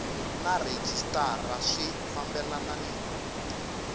na rhejisitara swi fambelana ni